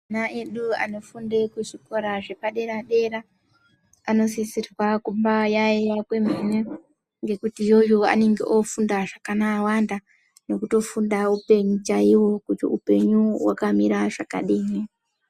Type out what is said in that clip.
Ana edu anofunde kuzvikora zvepadera dera vanosise kumbaayaiya kwemene ngekuti iyoyo vanonge vofunda zvakawanda nekutofunde upenyu chaiwo kuti upenyu hwakamira zvakadini.